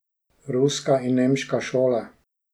Ruska in nemška šola.